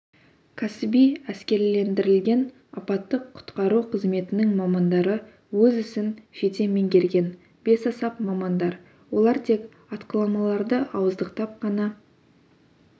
кәсіби әскерилендірілген апаттық-құтқару қызметінің мамандары өз ісін жете меңгерген бесаспап мамандар олар тек атқыламаларды ауыздықтап қана